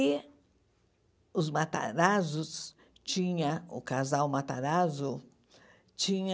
E os Matarazzos tinha, o casal Matarazzo, tinha...